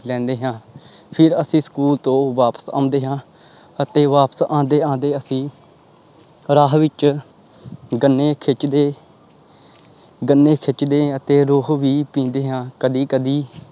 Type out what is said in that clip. ਲੈਂਦੇ ਹਾਂ ਫਿਰ ਅਸੀਂ ਸਕੂਲ ਤੋਂ ਵਾਪਿਸ ਆਉਂਦੇ ਹਾਂ ਅਤੇ ਵਾਪਿਸ ਆਉਂਦੇ ਆਉਂਦੇ ਅਸੀਂ ਰਾਹ ਵਿੱਚ ਗੰਨੇ ਖਿੱਚਦੇ ਗੰਨੇ ਖਿੱਚਦੇ ਹਾਂ ਅਤੇ ਰੋਹ ਵੀ ਪੀਂਦੇ ਹਾਂ ਕਦੇ ਕਦੇ,